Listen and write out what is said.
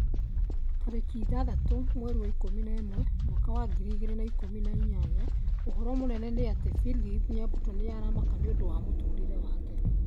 Tarĩki ithathatũ mweri wa ikũmi na ũmwe mwaka wa ngiri igĩrĩ na ikũmi na inyanya ũhoro mũnene nĩ ati philip nyabuto nĩ aramaka nĩũndũ wa mũtũrĩre wake